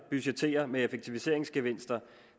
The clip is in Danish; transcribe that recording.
budgettere med effektiviseringsgevinster